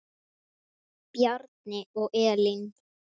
Bjarni og Elín.